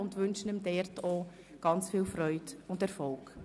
Ich wünsche ihm in seiner neuen Funktion viel Freude und Erfolg.